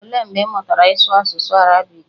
Olee mgbe ị mụtara ịsụ asụsụ arabiiki?